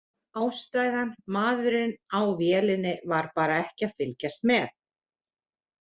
Ástæðan: Maðurinn á vélinni var bara ekki að fylgjast með.